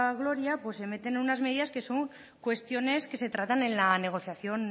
gloria pues se meten unas medidas que son cuestiones que se tratan en la negociación